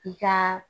I ka